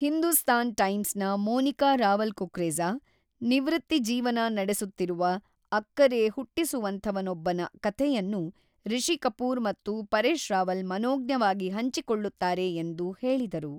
ಹಿಂದೂಸ್ತಾನ್ ಟೈಮ್ಸ್‌ನ ಮೋನಿಕಾ ರಾವಲ್ ಕುಕ್ರೇಜಾ, ನಿವೃತ್ತಿ ಜೀವನ ನಡೆಸುತ್ತಿರುವ, ಅಕ್ಕರೆ ಹುಟ್ಟಿಸುವಂಥವನೊಬ್ಬನ ಕಥೆಯನ್ನು ರಿಷಿ ಕಪೂರ್ ಮತ್ತು ಪರೇಶ್ ರಾವಲ್ ಮನೋಜ್ಞವಾಗಿ ಹಂಚಿಕೊಳ್ಳುತ್ತಾರೆ ಎಂದು ಹೇಳಿದರು.